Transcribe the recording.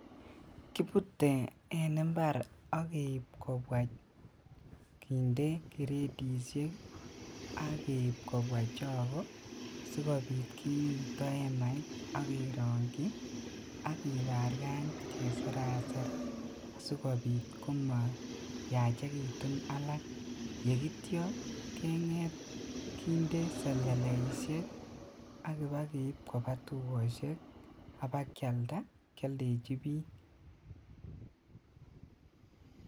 Kibute en imbar ak keib kobwaa kinde gradisiek ak keib kobwaa chogok sikobit kiito emait ak keronji ak kibarkany keseraser sikobit komayachekitun alak yeitio kindee seleleisiek ak kibokeib kobaa tugosiek abaa kialda kioldeji bik.